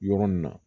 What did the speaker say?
Yɔrɔ nin na